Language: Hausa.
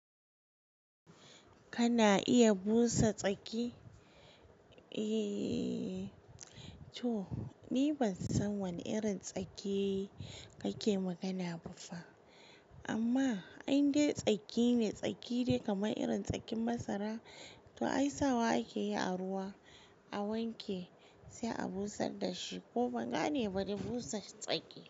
Kana iya busa tsaki? Eee to ni ban san wane irin tsake kake magana ba fa. Amma indai tsaki ne, tsaki dai kamar irin tsakin masara, to ai sawa ake yi a ruwa a wanke sai a busar da shi ko ban gane bade busa tsaki.